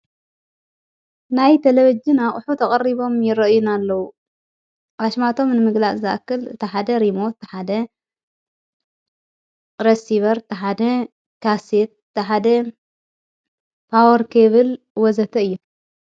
ናይ ተለበጅናኣቕሑ ተቐሪቦም ይረአዩና ኣለዉ ራሽማቶም ንምግላእ ዝኣክል እተሓደ ሪሞት ተሓደ ረሲበር ተሓደ ካሴት ተሓደ ጳወርከብል ወዘተ እየ።